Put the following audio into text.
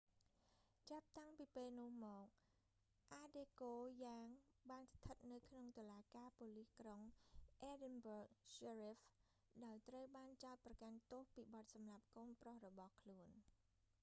ចាប់តាំងពីពេលនោះមក អាដេកូយ៉ាង adekoya បានស្ថិតនៅក្នុងតុលាការប៉ូលិសក្រុង edinburgh sheriff ដោយត្រូវបានចោទប្រកាន់ទោសពីបទសម្លាប់កូនប្រុសរបស់ខ្លួន